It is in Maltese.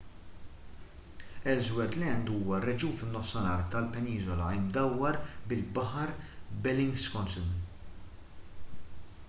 ellsworth land huwa r-reġjun fin-nofsinhar tal-peniżola imdawwar bil-baħar bellingshausen